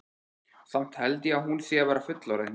Samt held ég að hún sé að verða fullorðin.